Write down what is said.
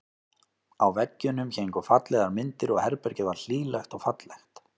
Á veggjunum héngu fallegar myndir og herbergið var hlýlegt og fallegt.